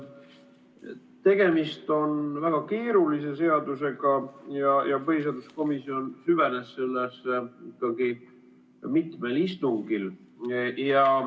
Tegemist on väga keerulise seadusega ja põhiseaduskomisjon süvenes sellesse mitmel istungil.